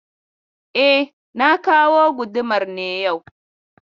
E, na kawo gudumar ne yau.